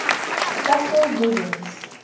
fossil resins